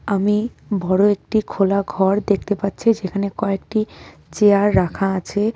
আমি বড় একটি খোলা ঘর দেখতে পাচ্ছি সেখানে কয়েকটি চেয়ার রাখা আছে.